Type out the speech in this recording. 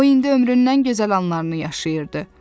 O indi ömrünün ən gözəl anlarını yaşayırdı.